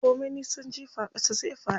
Ko min nisan jifa ƙasa zai faɗo.